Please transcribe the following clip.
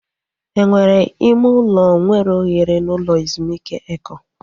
Enwere ime ụlọ nwere ohere n'ụlọ ezumike Eko?